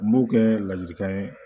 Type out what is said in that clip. N b'o kɛ ladilikan ye